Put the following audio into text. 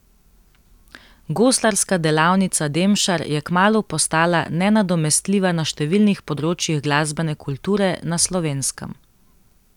Goslarska delavnica Demšar je kmalu postala nenadomestljiva na številnih področjih glasbene kulture na Slovenskem.